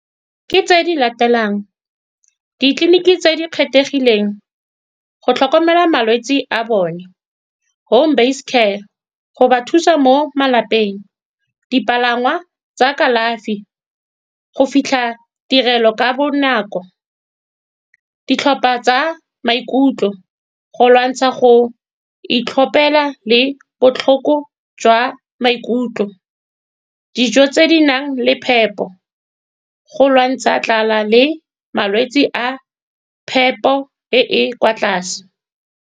Ke tse di latelang, ditleliniki tse di kgethegileng go tlhokomela malwetsi a bone, home-based care go ba thusa mo malapeng, dipalangwa tsa kalafi go fitlha tirelo ka bonako, ditlhopha tsa maikutlo go lwantsha go itlhopela le botlhoko jwa maikutlo, dijo tse di nang le phepo go lwantsha tlala le malwetse a phepo e e kwa tlase.